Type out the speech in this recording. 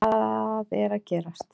Hvað er að gerast